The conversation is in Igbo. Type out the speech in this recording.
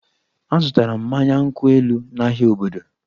Azụtara m mmanya nkwụ elu n'ahịa obodo